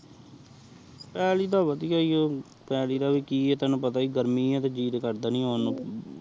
ਪਹਲੀ ਤਾ ਵਾਦਿਯ ਵਾਹ ਪਹਲੀ ਦਾ ਵੀ ਕੀ ਆਹ ਤੇਨੁ ਓਟਾ ਆਹ ਗਰਮੀ ਆਹ ਤੇ ਜੀ ਤੇਹ ਕਰਦਾ ਇ ਆਉ ਨੂ